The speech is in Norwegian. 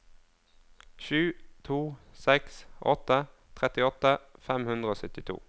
sju to seks åtte trettiåtte fem hundre og syttito